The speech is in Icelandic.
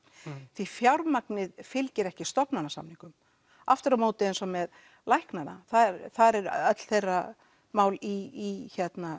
því fjármagnið fylgir ekki stofnanasamningum aftur á móti eins og með læknanna þar eru öll þeirra mál í